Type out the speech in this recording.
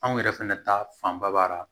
Anw yɛrɛ fɛnɛ ta fanba b'a la